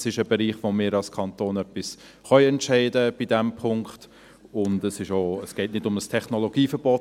Es ist ein Bereich, wo wir als Kanton bei diesem Punkt etwas entscheiden können, und es geht nicht um ein Technologieverbot.